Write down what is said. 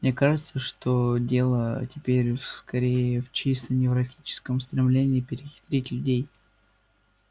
мне кажется что дело теперь скорее в чисто невротическом стремлении перехитрить людей